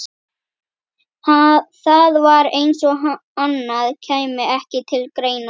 Það var eins og annað kæmi ekki til greina.